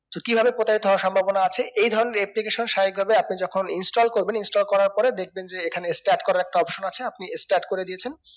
so কি ভাবে প্রতারিত হওয়া সম্ভাবনা আছে এই ধরণের application স্বাভাবিক ভাবে আপনি যেকোন install করবেন install করার পরে দেখেবন যে এখানে start করার একটা option আছে আপনি start করে দিয়েছেন